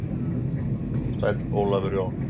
Sæll Ólafur Jón.